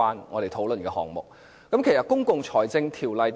為何我要提及《公共財政條例》呢？